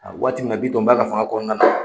A waati min na, Bitɔn b'a ka fanga kɔnɔna na